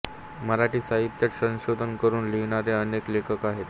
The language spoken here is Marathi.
मराठी साहित्यात संशोधन करून लिहिणारे अनेक लेखक आहेत